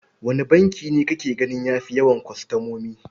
Wane banki ne kake gani ya fi yawan kwastomomi?